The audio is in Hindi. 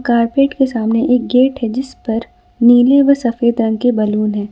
कारपेट के सामने एक गेट है जिस पर नीले और सफेद रंग के बैलून हैं।